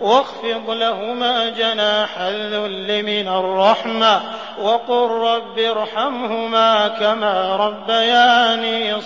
وَاخْفِضْ لَهُمَا جَنَاحَ الذُّلِّ مِنَ الرَّحْمَةِ وَقُل رَّبِّ ارْحَمْهُمَا كَمَا رَبَّيَانِي